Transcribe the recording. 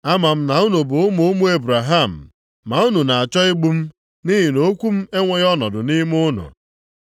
Ama m na unu bụ ụmụ ụmụ Ebraham, ma unu na-achọ igbu m nʼihi na okwu m enweghị ọnọdụ nʼime unu.